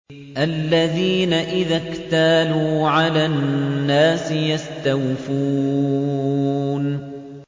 الَّذِينَ إِذَا اكْتَالُوا عَلَى النَّاسِ يَسْتَوْفُونَ